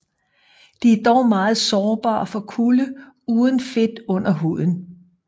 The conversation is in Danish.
De er dog meget sårbare for kulde uden fedt under huden